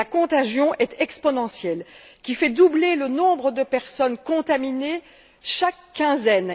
La contagion est exponentielle et fait doubler le nombre de personnes contaminées chaque quinzaine.